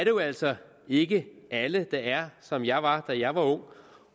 jo altså ikke alle der er som jeg var da jeg var ung